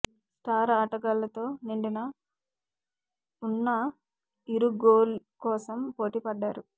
star ఆటగాళ్లతో నిండిన ఉన్న ఇరు గోల్ కోసం పోటీపడ్డాయి